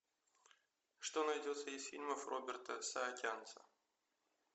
что найдется из фильмов роберта саакянца